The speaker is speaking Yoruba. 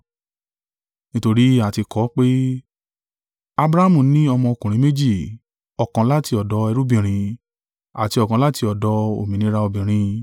Nítorí a ti kọ ọ́ pé, Abrahamu ní ọmọ ọkùnrin méjì, ọ̀kan láti ọ̀dọ̀ ẹrúbìnrin, àti ọ̀kan láti ọ̀dọ̀ òmìnira obìnrin.